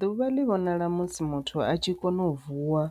Ḓuvha ḽi vhonala musi muthu a tshi kone u vuwa